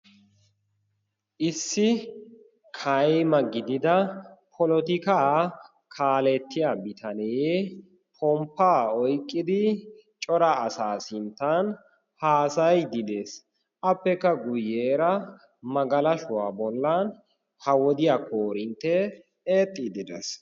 issi kayma gidida polotikaa kaalettiya bitanee pomppaa oyqqidi cora asaa sinttan haasayidi dees appekka guyyeera magalashuwaa bollan ha wodiyaa koorinttee eexxiidi dees